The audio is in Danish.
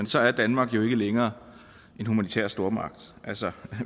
så er danmark jo ikke længere en humanitær stormagt altså